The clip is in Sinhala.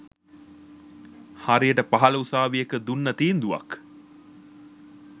හරියට පහල උසාවියක දුන්න තීන්දුවක්